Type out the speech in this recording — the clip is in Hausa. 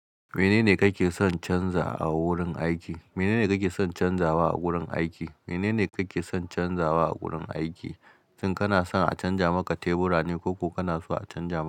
Menene kake son canza a wurin aiki? Menene kake son canza wa a wurin aiki? Menene kake son canza wa a wurin aiki? Tun kana son a canja maka tebura ne ko ku kana so a canja ma.